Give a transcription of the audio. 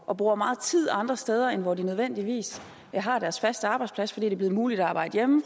og bruger meget tid andre steder end hvor de nødvendigvis har deres faste arbejdsplads fordi det er blevet muligt at arbejde hjemme